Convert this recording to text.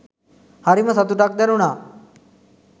හරිම සතුටක් දැනුනා